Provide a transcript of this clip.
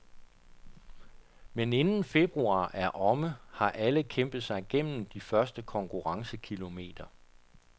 Men inden februar er omme, har alle kæmpet sig gennem de første konkurrencekilometer.